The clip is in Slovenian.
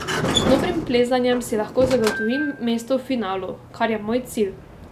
Z dobrim plezanjem si lahko zagotovim mesto v finalu, kar je moj cilj.